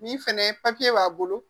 Nin fɛnɛ papiye b'a bolo